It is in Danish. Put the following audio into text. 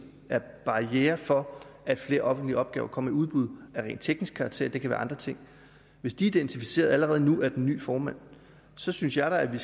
er barrierer for at flere offentlige opgaver kommer i udbud af rent teknisk karakter og det kan være andre ting og hvis de er identificeret allerede nu af den nye formand så synes jeg da at vi